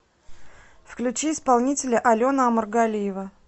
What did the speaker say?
включи исполнителя алена омаргалиева